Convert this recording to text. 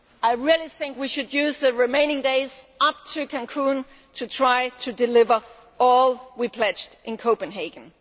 I really think we should use the remaining days up to Cancún to try to deliver all we pledged in Copenhagen.